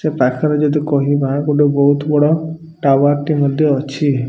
ସେ ପାଖରେ ଯଦି କହିବା ଗୋଟେ ବହୁତ୍ ବଡ଼ ଟାୱାର ଟି ମଧ୍ୟ ଅଛି।